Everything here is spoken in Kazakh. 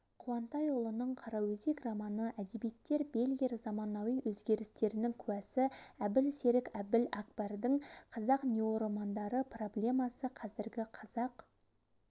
қуантайұлының қараөзек романы әдебиеттер бельгер заманауи өзгерістердің куәсі әбіл-серік әліәкбардың қазақ неоромандары проблемасы қазіргі қазақ